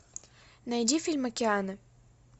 найди фильм океаны